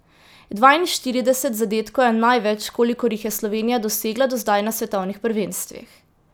Dvainštirideset zadetkov je največ, kolikor jih je Slovenija dosegla do zdaj na svetovnih prvenstvih.